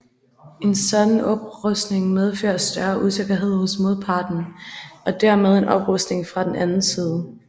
En sådan oprustning medfører større usikkerhed hos modparten og dermed en oprustning fra den anden side